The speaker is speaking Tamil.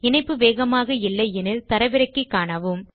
இணைப்பு வேகமாக இல்லை எனில் அதை தரவிறக்கி காணலாம்